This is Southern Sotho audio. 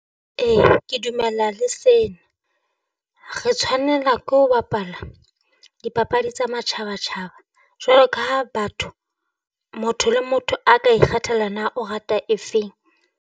E ke dumela le sena, re tshwanela ke ho bapala dipapadi tsa matjhaba-tjhaba jwalo ka ha batho motho le motho a ka ikgethela na o rata efeng.